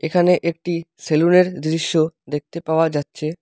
এখানে একটি সেলুনের দৃশ্য দেখতে পাওয়া যাচ্ছে।